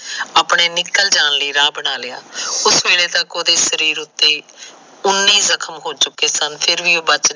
ਆਪਣੇ ਨਿਕਲ ਜਾਣ ਲਈ ਰਾਹ ਬਣਾ ਲਿਆ ਉਸ ਵੇਲੇ ਤੱਕ ਉਸਦੇ ਸਰੀਰ ਉਤੇ ਉਨੇ ਜਖਮ ਹੋ ਚੁਕੇ ਸਨ